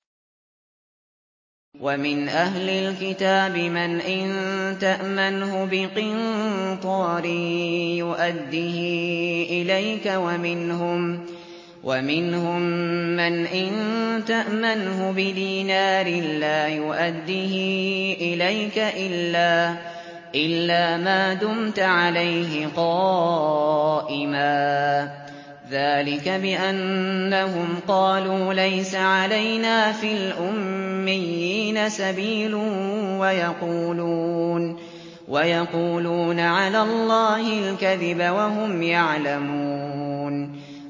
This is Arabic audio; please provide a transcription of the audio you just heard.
۞ وَمِنْ أَهْلِ الْكِتَابِ مَنْ إِن تَأْمَنْهُ بِقِنطَارٍ يُؤَدِّهِ إِلَيْكَ وَمِنْهُم مَّنْ إِن تَأْمَنْهُ بِدِينَارٍ لَّا يُؤَدِّهِ إِلَيْكَ إِلَّا مَا دُمْتَ عَلَيْهِ قَائِمًا ۗ ذَٰلِكَ بِأَنَّهُمْ قَالُوا لَيْسَ عَلَيْنَا فِي الْأُمِّيِّينَ سَبِيلٌ وَيَقُولُونَ عَلَى اللَّهِ الْكَذِبَ وَهُمْ يَعْلَمُونَ